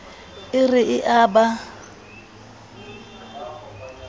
e re e a ba